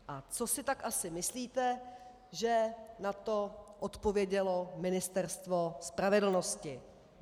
A co si tak asi myslíte, že na to odpovědělo Ministerstvo spravedlnosti?